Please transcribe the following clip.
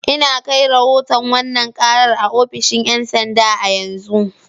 Ina kai rahoton wannan karar a ofishin 'yan sanda a yanzu.